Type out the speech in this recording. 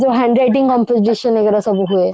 ଯଉ handwriting competition ଏଇଗୁଡା ସବୁ ହୁଏ